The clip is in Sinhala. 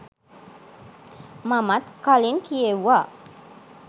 මමත් කලින් කියෙව්වා.